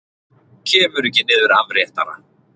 Kemur ekki niður afréttara.